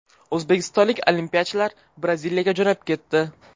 O‘zbekistonlik olimpiyachilar Braziliyaga jo‘nab ketdi.